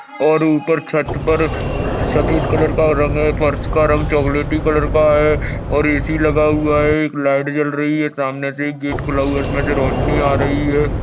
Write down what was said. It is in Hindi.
और ऊपर छत पर सफेद कलर का रंग है फर्श का रंग चॉकलेटी कलर का है और एसि लगा हुआ है लाइट जल रही है सामने से एक गेट खुला है जिसमे से रोशनी आ रही है।